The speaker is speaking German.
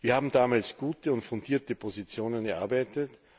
Wir haben damals gute und fundierte Positionen erarbeitet.